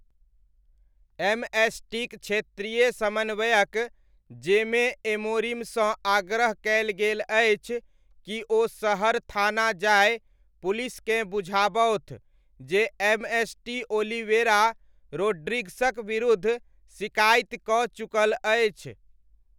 एमएसटीक क्षेत्रीय समन्वयक जेमे एमोरिमसँ आग्रह कयल गेल अछि कि ओ शहर थाना जाय पुलिसकेँ बुझाबथु जे एमएसटी ओलिवेरा रोड्रिग्सक विरुद्ध सिकाइति कऽ चुकल अछि।